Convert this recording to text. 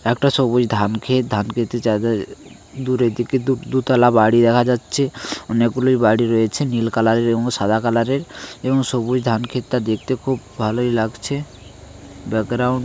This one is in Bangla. একটা সবুজ ধান ক্ষেত ধান খেতে দূরের দিকে দু দুতলা বাড়ি দেখা যাচ্ছে অনেকগুলি বাড়ি রয়েছে নীল কালার এর এবং সাদা কালার এর এবং সবুজ ধানক্ষেতটা দেখতে খুব ভালই লাগছে ব্যাকগ্রাউন্ড --